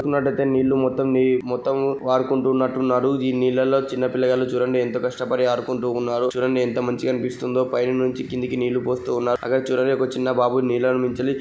చూస్తున్నట్టయితే నీళ్లు మొత్తం నీ మొత్తం వాడుకుంటున్నట్టు ఉన్నారు. ఈ నీళ్లలో చిన్న పిల్లగాళ్ళు చూడండి ఎంత కష్టపడి ఆడుకుంటూ ఉన్నారు. చూడండి ఎంత మంచిగా అనిపిస్తుందో పైనుంచి కిందకి నీళ్లు పోస్తున్నారు. అక్కడ చూడండి ఒక చిన్న బాబు నీళ్లని ]